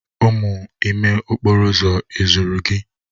Umu ime okporo uzo ezuru gi?